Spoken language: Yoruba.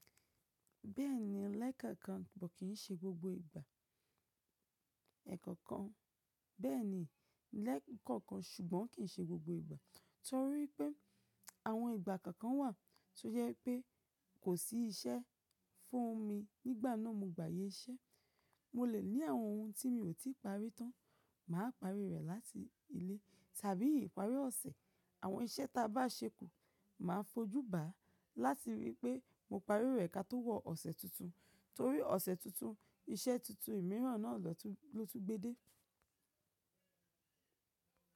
Bẹ́ẹ̀ni, lẹ́ẹ̀kọ̀ọ̀kan ṣùgbọ́n kì í ṣe gbogbo ìgbà. Torí pé àwọn ìgbà kọ̀ọ̀kan wà tó yẹ pé kò sí iṣẹ́ fún mi nígbà náà mo gba ayẹ iṣẹ́. Mo lè ní àwọn ohun tí mi ò tí ì parí tán, mà á parí rẹ̀ láti ilé tàbí ìparí ọ̀sẹ̀. Àwọn iṣẹ́ ta bá ṣekú ma fojú ba láti rí pé mo parí rẹ̀ ká tó wọ̀ ọ̀sẹ̀ tuntun. Torí ọ̀sẹ̀ tuntun iṣẹ́ tuntun ìmíràn náà ló tún gbé dé.